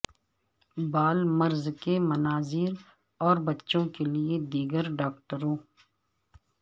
بال مرض کے مناظر اور بچوں کے لئے دیگر ڈاکٹروں